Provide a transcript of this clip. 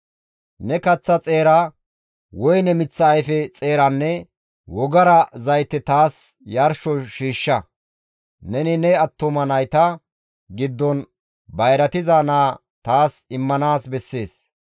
«Ne kaththa xeera, woyne miththa ayfe xeeranne wogara zayte taas yarsho shiishsha. Neni ne attuma nayta giddon bayratiza naa taas immanaas bessees.